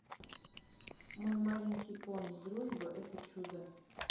мой маленький пони дружба это чудо